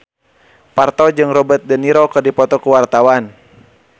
Parto jeung Robert de Niro keur dipoto ku wartawan